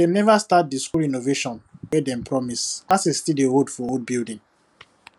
dem never start the school renovation wey dem promise classes still dey hold for the old building